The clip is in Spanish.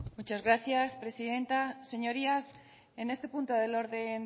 muchas gracias presidenta señorías en este punto del orden